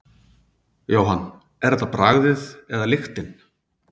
Jóhann: Er þetta bragðið eða lyktin?